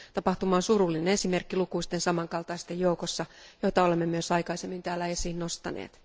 Tapahtuma on surullinen esimerkki lukuisten samankaltaisten joukossa, joita olemme myös aikaisemmin täällä esiin nostaneet.